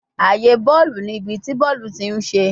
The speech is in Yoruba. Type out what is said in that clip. Aaye bọọlu ni ibi ti bọọlu ti n ṣe